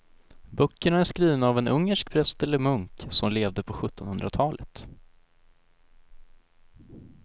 Böckerna är skrivna av en ungersk präst eller munk som levde på sjuttonhundratalet.